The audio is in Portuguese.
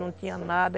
Não tinha nada.